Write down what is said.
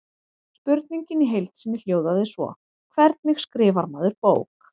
Spurningin í heild sinni hljóðaði svo: Hvernig skrifar maður bók?